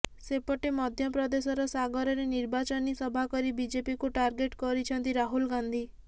ସେପଟେ ମଧ୍ୟପ୍ରଦେଶର ସାଗରରେ ନିର୍ବାଚନି ସଭା କରି ବିଜେପିକୁ ଟାର୍ଗେଟ କରିଛନ୍ତି ରାହୁଲ ଗାନ୍ଧୀ